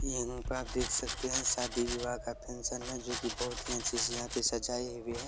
यह पे आप देख सकते हैं शादी विवाह का फंक्सन है जो की बहुत ही अच्छे से यहाँ पे सजाए हुए हैं।